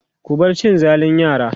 ku bar cin zalin yara!